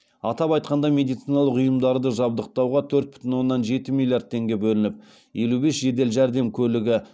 атап айтқанда медициналық ұйымдарды жабдықтауға төрт бүтін оннан жеті миллиард теңге бөлініп елу бес жедел жәрдем көлігі